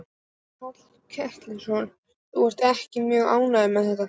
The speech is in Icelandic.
Páll Ketilsson: Þú ert ekki mjög ánægð með þetta?